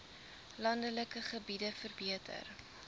landelike gebiede verbeter